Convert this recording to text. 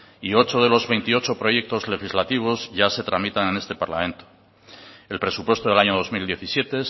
y ocho de los veintiocho proyectos legislativos ya se tramitan en este parlamento el presupuesto del año dos mil diecisiete